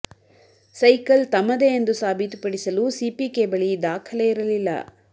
cycle ತಮ್ಮದೇ ಎಂದು ಸಾಬೀತು ಪಡಿಸಲು ಸಿಪಿಕೆ ಬಳಿ ದಾಖಲೆ ಇರಲಿಲ್ಲ